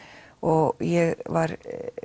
og ég var